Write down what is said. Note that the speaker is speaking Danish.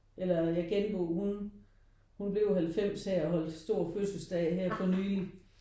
Eller genbo hun hun blev 90 her og holdt stor fødselsdag her for nylig